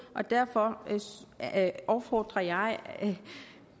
og derfor opfordrer jeg